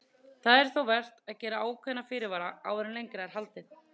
Það er þó vert að gera ákveðna fyrirvara áður en lengra er haldið.